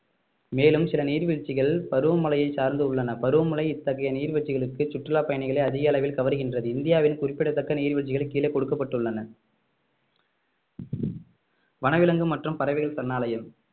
மேலும் சில நீர்வீழ்ச்சிகள் பருவமழையை சார்ந்து உள்ளன பருவமழை இத்தகைய நீர்வீழ்ச்சிகளுக்கு சுற்றுலா பயணிகளை அதிக அளவில் கவர்கின்றது இந்தியாவின் குறிப்பிடத்தக்க நீர்வீழ்ச்சிகள் கீழே கொடுக்கப்பட்டுள்ளன வனவிலங்கு மற்றும் பறவைகள் சரணாலயம்